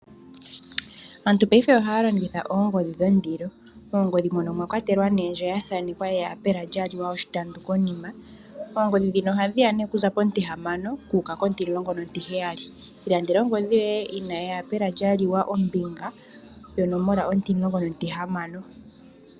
Aantu payife ohaya longitha oongodhi dhondilo , oongodhi mono omwa kwatelwa nee ndjo ya thaanekwa eyapela lya liwa oshitampu konima, oongodhi dhino ohadhi ya nee kuza pontihamana kuuka kontilongo nontiheyali. Ilandela ongodhi yoye yina eyapela lya liwa ombinga yonomola ontimulongo nontihamano